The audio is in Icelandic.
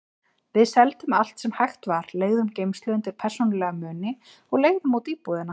Við seldum allt sem hægt var, leigðum geymslu undir persónulega muni og leigðum út íbúðina.